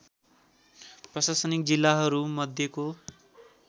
प्रशासनिक जिल्लाहरू मध्येको